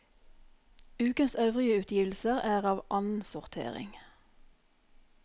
Ukens øvrige utgivelser er av annensortering.